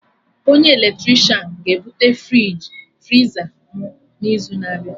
Onye eletrishan ga ebute friza mụ n'izu na-abịa